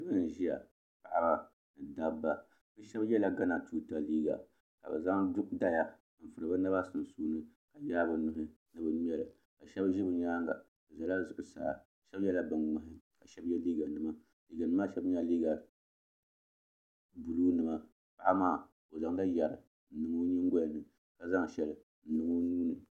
Niraba n ʒiya dabba bi shab yɛla gana tuuta nima ka bi zaŋ dala n furi bi naba sunsuuni ka yaai bi nuhi ni bi ŋmɛli ka shab ʒi bi nyaanga bi ʒɛla zuɣusaa shab yɛla bin ŋmahi ka shab yɛ liiga nima liiga nim maa shɛli nyɛla liiga buluu nima paɣaba maa bi zaŋla yɛri n niŋ bi nyingoya ni ka zaŋ shɛli n niŋ bi nuuni